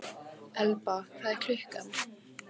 Elba, hvað er klukkan?